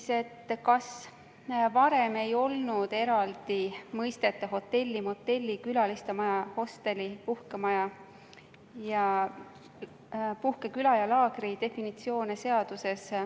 Sven Sester küsis, kas varem ei olnud selliste mõistete nagu hotell, motell, külalistemaja, hostel, puhkemaja, puhkeküla ja laager definitsioone seaduses.